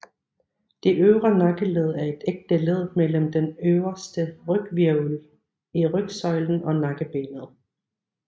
Det øvre nakkeled er et ægte led imellem den øverste ryghvirvel i rygsøjlen og nakkebenet